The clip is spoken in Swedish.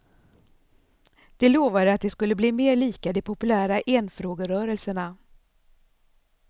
De lovade att de skulle bli mer lika de populära enfrågerörelserna.